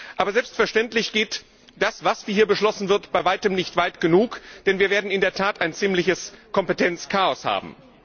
Aber selbstverständlich geht das, was hier beschlossen wird, bei weitem nicht weit genug, denn wir werden in der Tat ein ziemliches Kompetenzchaos haben.